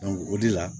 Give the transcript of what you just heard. o de la